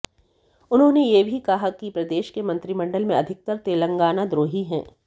उन्होंने यह भी कहा कि प्रदेश के मंत्रिमंडल में अधिकतर तेलंगाना द्रोही है